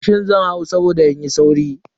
Mashin zan hau saboda in yi sauri.